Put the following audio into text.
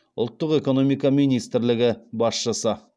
ұлттық экономика министрлігі басшысы